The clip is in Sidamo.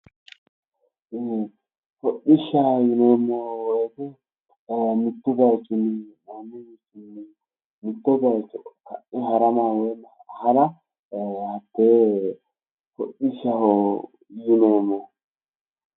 Hodhishshaho yineemmo woyite mittu bayiichinni wole bayicho hara ee hatee hodhishshaho yineemmohu.